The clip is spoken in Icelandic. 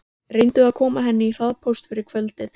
Reyndu að koma henni í hraðpóst fyrir kvöldið.